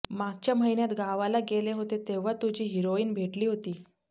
मागच्या महिन्यांत गावाला गेले होते तेव्हा तुझी हिरॉइन भेटली होती